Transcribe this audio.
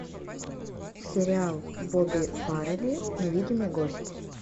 сериал бобби фаррелли невидимый гость